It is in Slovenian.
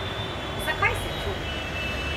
Zakaj se čudite?